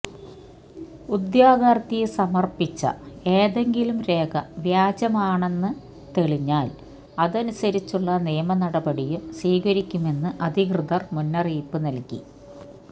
ഉദ്യോഗാര്ഥി സമര്പ്പിച്ച ഏതെങ്കിലും രേഖ വ്യാജമാണെന്ന് തെളിഞ്ഞാല് അതനുസരിച്ചുള്ള നിയമനടപടിയും സ്വീകരിക്കുമെന്ന് അധികൃതര് മുന്നറിയിപ്പ് നല്കി